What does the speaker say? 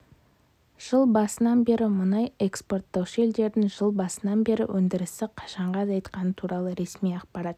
жыл басынан бері мұнай экспорттаушы елдердің жыл басынан бері өндірісті қаншаға азайтқаны туралы ресми ақпарат